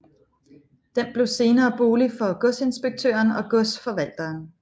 Den blev senere bolig for godsinspektøren og godsforvalteren